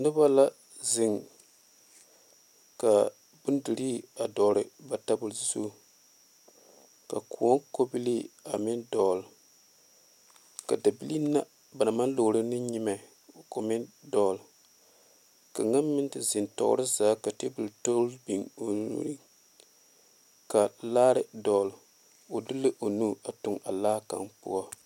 Noba la zeŋ ka bondire a dogle ba tabol zu ka kõɔ kobilee a meŋ dogle ka dabilee na ba naŋ maŋ lɔgro ne nyamɛ ko meŋ dogle kaŋa meŋ te zeŋ tɔɔre zaa ka tabol toŋ biŋ o niŋe ka laare dogle o de la o nu a tuŋ a laa kaŋa poɔ.